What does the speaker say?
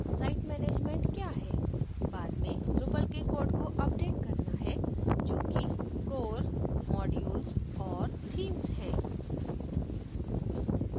site management क्या है site management हैः बाद में drupal के कोड को अपडेट करना है जो कि core modules और themes है